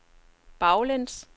baglæns